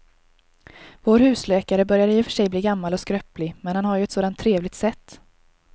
Vår husläkare börjar i och för sig bli gammal och skröplig, men han har ju ett sådant trevligt sätt!